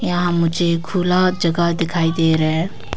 यहां मुझे खुला जगह दिखाई दे रहा है।